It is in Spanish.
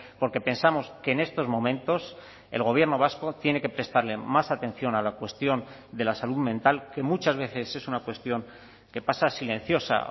porque pensamos que en estos momentos el gobierno vasco tiene que prestarle más atención a la cuestión de la salud mental que muchas veces es una cuestión que pasa silenciosa